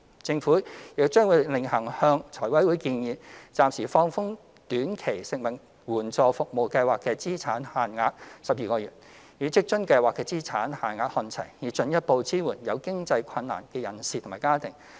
政府亦將會另行向財委會建議，暫時放寬短期食物援助服務計劃的資產限額12個月，與職津計劃的資產限額看齊，以進一步支援有經濟困難的人士及家庭。